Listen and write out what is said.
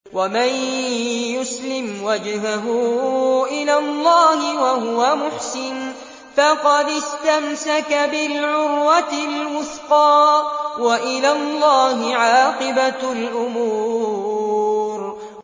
۞ وَمَن يُسْلِمْ وَجْهَهُ إِلَى اللَّهِ وَهُوَ مُحْسِنٌ فَقَدِ اسْتَمْسَكَ بِالْعُرْوَةِ الْوُثْقَىٰ ۗ وَإِلَى اللَّهِ عَاقِبَةُ الْأُمُورِ